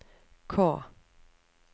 K